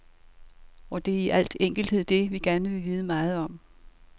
Og det er i al enkelthed det, vi gerne vil vide meget om.